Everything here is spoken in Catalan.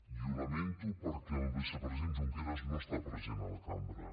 i ho lamento perquè el vicepresident junqueras no està present a la cambra